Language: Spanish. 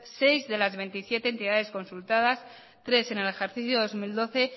seis de las veintisiete entidades consultadas tres en el ejercicio dos mil doce